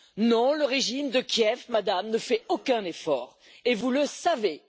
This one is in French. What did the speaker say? Non, le régime de Kiev, Madame, ne fait aucun effort et vous le savez!